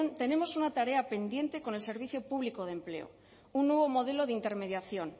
tenemos una tarea pendiente con el servicio público de empleo un nuevo modelo de intermediación